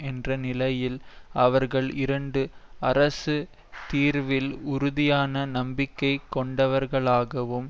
என்ற நிலையில் அவர்கள் இரண்டு அரசு தீர்வில் உறுதியான நம்பிக்கை கொண்டவர்களாகவும்